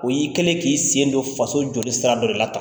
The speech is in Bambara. O y'i kɛlen ye k'i sen don faso jɔli sira dɔ de la